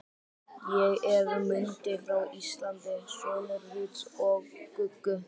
Ég er Mundi frá Íslandi, sonur Rúts og Guggu.